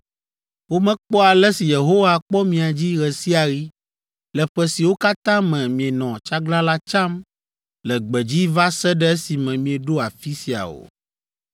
Womekpɔ ale si Yehowa kpɔ mia dzi ɣe sia ɣi le ƒe siwo katã me mienɔ tsaglalã tsam le gbedzi va se ɖe esime mieɖo afi sia o.